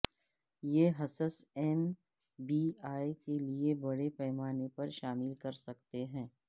یہ حصص M B A کے لئے بڑے پیمانے پر شامل کر سکتے ہیں